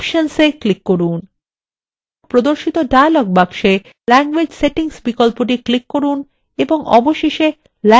প্রদর্শিত dialog box language settings বিকল্পটি click করুন এবং অবশেষে languages click করুন